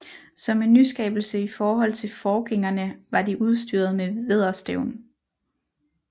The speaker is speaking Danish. Som en nyskabelse i forhold til forgængerne var de udstyret med vædderstævn